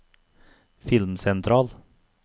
filmsentral